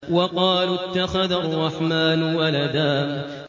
وَقَالُوا اتَّخَذَ الرَّحْمَٰنُ وَلَدًا